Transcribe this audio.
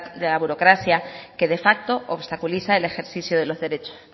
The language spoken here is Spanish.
de la burocracia que de facto obstaculiza el ejercicio de los derechos